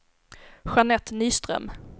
Jeanette Nyström